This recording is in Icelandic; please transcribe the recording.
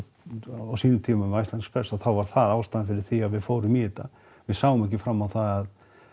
á sínum tíma með Iceland express þá var það ástæðan fyrir því að við fórum í þetta við sáum ekki fram á það